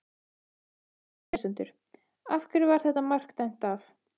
Við spyrjum lesendur: Af hverju var þetta mark dæmt af?